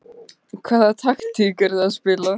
Hvaða taktík eruð þið að spila?